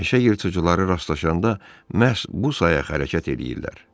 Meşə yırtıcıları rastlaşanda məhz bu sayaq hərəkət eləyirlər.